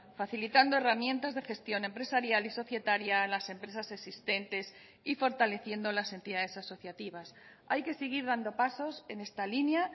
facilitando herramientas de gestión empresarial y societaria a las empresas existentes y fortaleciendo las entidades asociativas hay que seguir dando pasos en esta línea